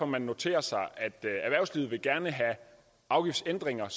man noterer sig at erhvervslivet gerne vil have afgiftsændringer